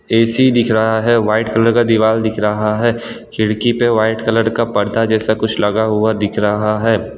AC दिख रहा है वाइट कलर का दिवाल दिख रहा है खिड़की पे वाइट कलर का पर्दा जैसा कुछ लगा हुआ दिख रहा है।